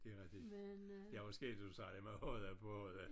Det er rigtigt. Det er også skægt det du sagde det med hodda på hodda